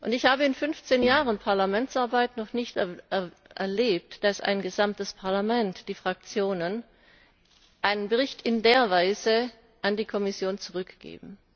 Ich habe in fünfzehn Jahren Parlamentsarbeit noch nicht erlebt, dass ein gesamtes Parlament die Fraktionen einen Bericht in dieser Weise an die Kommission zurückgibt.